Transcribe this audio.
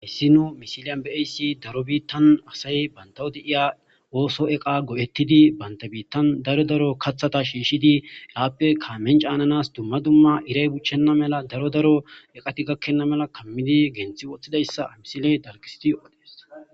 hyssino misiliyan beayssi daro biittan asay bantawodi iya ooso eqa go7ettidi banta biittan daro daro kathata shiishshidi yaappe kaamen caananas dumma dumma iray buchchenna mela daro daro eqati gakkenna mela kammidi genthi woththidayssa misiley talgisidi yoodees